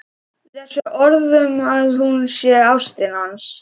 Þessi orð um að hún sé ástin hans.